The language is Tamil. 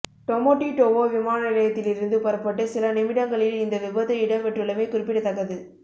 டொமொடிடொவோ விமான நிலையத்திலிருந்து புறப்பட்டு சில நிமிடங்களில் இந்த விபத்து இடம்பெற்றுள்ளமை குறிப்பிடத்தக்கது